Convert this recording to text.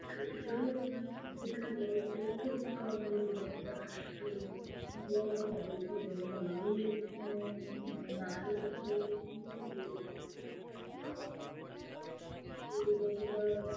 সত্যি করেই এখন আমাদের সব থেকে কারের বড় উৎসব দুর্গাপূজা তো বড় তো হবেই। সেজন্য বাঙালি উম বাঙালির কাছে পুরো তো দুর্গাপূজা